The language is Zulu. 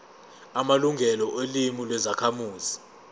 amalungelo olimi lwezakhamuzi